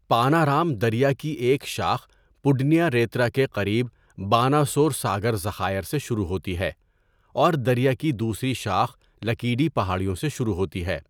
پانارام دریا کی ایک شاخ پڈنیاریترا کے قریب باناسور ساگر ذخائر سے شروع ہوتی ہے اور دریا کی دوسری شاخ لکیڈی پہاڑیوں سے شروع ہوتی ہے۔